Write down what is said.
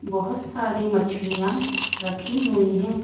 बहुत सारी मछलियां रखी हुई हैं।